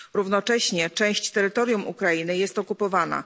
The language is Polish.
Równocześnie część terytorium Ukrainy jest okupowana.